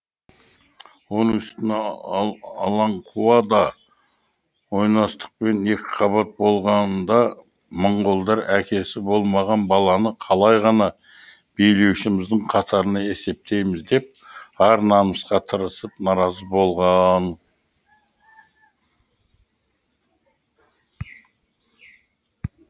оның үстіне аланқуа да ойнастықпен екіқабат болғанда моңғолдар әкесі болмаған баланы қалай ғана билеушіміздің қатарында есептейміз деп ар намысқа тырысып наразы болған